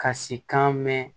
Ka si kan mɛn